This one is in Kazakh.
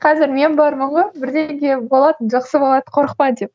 қазір мен бармын ғой бірдеңе болады жақсы болады қорықпа деп